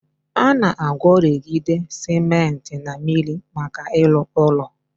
Ana agworigide cementi na miri maka ilu ulo